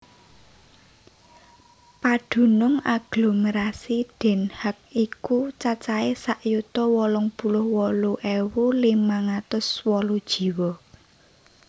Padunung aglomerasi Den Haag iku cacahé sak yuta wolung puluh wolu ewu limang atus wolu jiwa